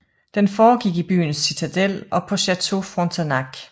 Den foregik i byens citadel og på Château Frontenac